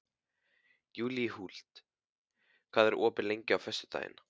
Júlíhuld, hvað er opið lengi á föstudaginn?